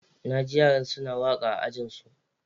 Naji yaran suna waka a Ajinsu.